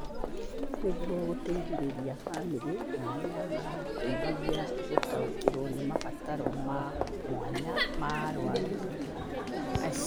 Nĩguo gũteithĩrĩria bamĩrĩ na arĩa maramateithagia gũtaũkĩrũo nĩ mabataro ma mwanya ma arũaru acio.